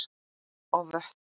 og vötn.